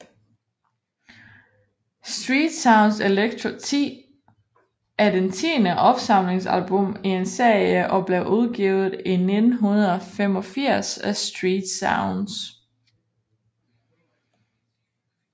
Street Sounds Electro 10 er det tiende opsamlingsalbum i en serie og blev udgivet i 1985 af StreetSounds